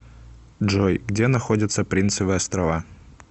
джой где находится принцевы острова